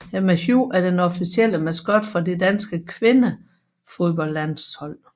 Emma Hu er den officielle maskot for det danske kvindefodboldlandshold